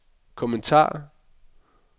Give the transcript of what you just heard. kommentar